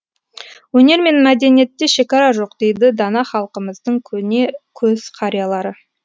өнер мен мәдениетте шекара жоқ дейді дана халқымыздың көне көз қариялары